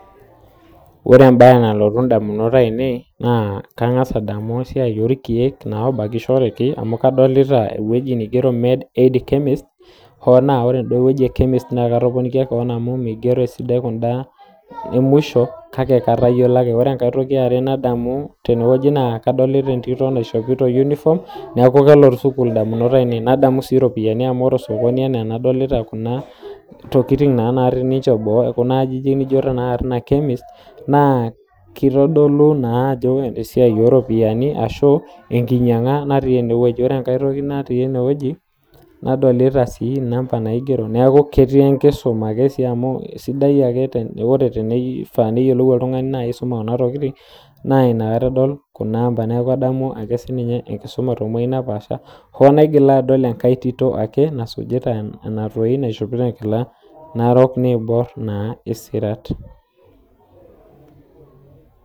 Ore embae nalotu damunot aainei naa kagaz adamu esiaai oorkiek obakishoreki amu kadolita ewueeii naigero med aid chemist ooh naa kore ewueji e kemist naa katoponikia koon amu migero eda emuisho kake kayiolo ake, kore entoki ya aare nadolita tene nadolita etito naishopito uniform neeku kelotu sukuul idamunot aainei nadamu sii iropiyani amu ore ena enadolita osokoni kuna tokitin naarri kuna natii boo kuna aajijik nijo ina kemist naa kitodolu naa ajo esiaai oo ropiyiani ashu ekinyanga natii ene wueji, ore enkae toki natii ene wueji nadolita sii inamba naigero neeku ketii enkisuma amu ore tenipanga niyiolou aisuma kuna amba kisidai enkisuma too wuejitin naapasha, ooh naigila adol enkae tito ake nasuujita enadoi naishopito enkila naiborr narok isikirat.